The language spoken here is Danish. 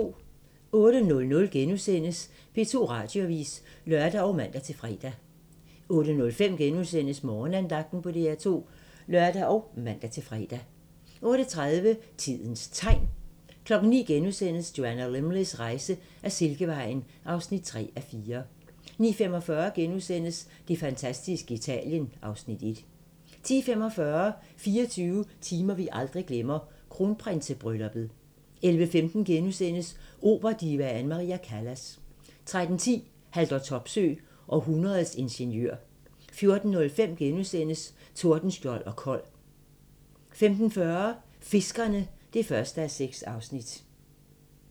08:00: P2 Radioavis *(lør og man-fre) 08:05: Morgenandagten på DR2 *(lør og man-fre) 08:30: Tidens Tegn 09:00: Joanna Lumleys rejse ad Silkevejen (3:4)* 09:45: Det fantastiske Italien (Afs. 1)* 10:45: 24 timer vi aldrig glemmer - kronprinsebrylluppet 11:15: Operadivaen Maria Callas * 13:10: Haldor Topsøe – århundredets ingeniør 14:05: Tordenskjold og Kold * 15:40: Fiskerne (1:6)